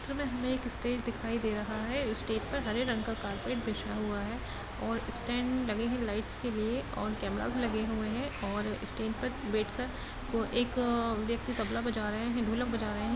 चित्र मे हमे एक स्टेज दिखाई दे रहा है। उस स्टेज पर हरे रंग का कार्पेट बीछा हुआ है और स्टेंडस लगे हुए हैं लाइट के लिए और कैमेरा भी लगे हुए हैं और स्टेज पर बैठ कर को एक अ व्यक्ति तबला बजा रहे हैं ढोलक बजा रहे हैं।